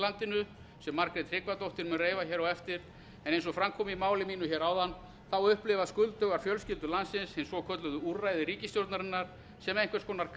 landinu sem háttvirtur þingmaður margrét tryggvadóttir mun reifa hér á eftir en eins og fram kom í máli mínu áðan upplifa skuldugar fjölskyldur landsins hin svokölluðu úrræði ríkisstjórnarinnar sem einhvers kona